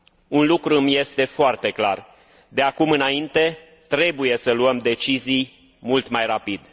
Un lucru îmi este foarte clar de acum înainte trebuie să luăm decizii mult mai rapid.